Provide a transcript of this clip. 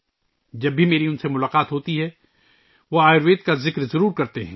جب بھی میری ان سے ملاقات ہوتی ہے ، وہ آیوروید کا ذکر ضرور کرتے ہیں